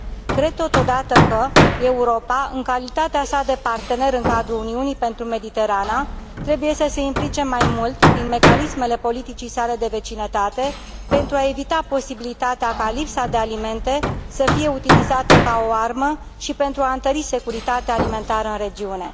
Cred, totodată, că Europa, în calitatea sa de partener în cadrul Uniunii pentru Mediterana, trebuie să se implice mai mult prin mecanismele politicii sale de vecinătate, pentru a evita posibilitatea ca lipsa de alimente să fie utilizată ca o armă și pentru a întări securitatea alimentară în regiune.